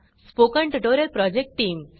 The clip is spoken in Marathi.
spoken tutorial project team